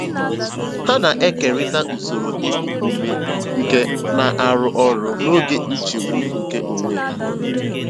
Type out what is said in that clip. Ha na-ekerịta usoro iku ume nke na-arụ ọrụ n'oge nchegbu nke onwe ha.